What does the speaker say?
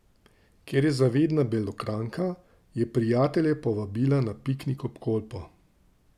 Ker je zavedna Belokranjka, je prijatelje povabila na piknik ob Kolpo.